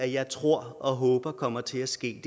jeg tror og håber kommer til at ske